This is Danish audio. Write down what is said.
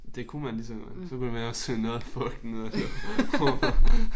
Det kunne man lige så godt. Så kunne det være også noget af fugten ud af rummet